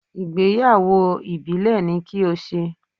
Ìgbéyàwó ìbílẹ̀ ni kí o ṣe!